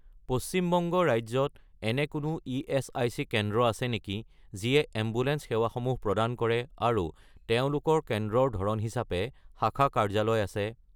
পশ্চিম বংগ ৰাজ্যত এনে কোনো ইএচআইচি কেন্দ্ৰ আছে নেকি যিয়ে এম্বুলেন্স সেৱাসমূহ প্ৰদান কৰে আৰু তেওঁলোকৰ কেন্দ্ৰৰ ধৰণ হিচাপে শাখা কাৰ্যালয় আছে?